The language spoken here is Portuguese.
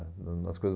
ãh no nas coisas